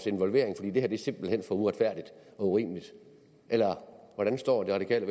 involvering fordi det her simpelt hen er for uretfærdigt og urimeligt eller hvordan står det radikale